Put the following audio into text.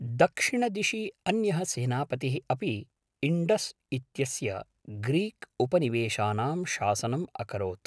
दक्षिणदिशि अन्यः सेनापतिः अपि इण्डस् इत्यस्य ग्रीक् उपनिवेशानां शासनम् अकरोत्